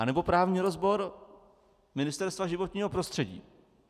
Anebo právní rozbor Ministerstva životního prostředí?